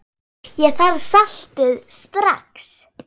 Ég þarf saltið strax.